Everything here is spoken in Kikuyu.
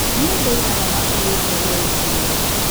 Nĩ andũ aigana maakuetwo meri-inĩ ĩyo?